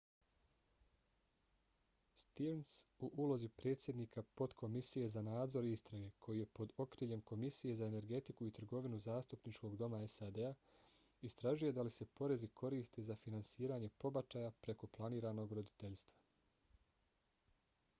stearns u ulozi predsjednika potkomisije za nadzor i istrage koji je pod okriljem komisije za energetiku i trgovinu zastupničkog doma sad-a istražuje da li se porezi koriste za finansiranje pobačaja preko planiranog roditeljstva